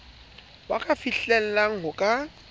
ba ka fihlellang ho ka